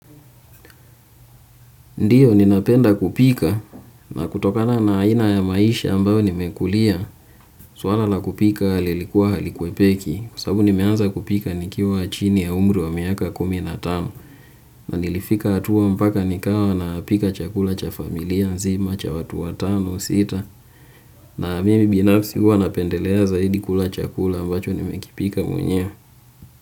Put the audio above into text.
Ndiyo ninapenda kupika na kutokana na aina ya maisha ambayo nimekulia. Swala nakupika lilikuwa halikwepeki. Kwa sababu nimeanza kupika nikiwa chini ya umri wa miaka kumi na tano. Na nilifika hatua mpaka nikawa napika chakula cha familia nzima cha watu wa tano au sita. Na mimi binafsi huwa napendelea zaidi kula chakula ambacho nimekipika mwenyewe.